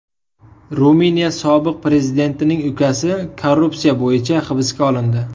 Ruminiya sobiq prezidentining ukasi korrupsiya bo‘yicha hibsga olindi.